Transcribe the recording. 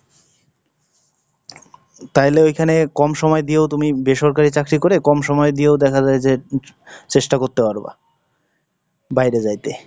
তাহলে ওইখানে কম সময় দিয়েও তুমি বেসরকারি চাকরি করে কম সময় দিয়েও দেখা যায় যে, চেষ্টা করতে পারবা, বাইরে যাইতে।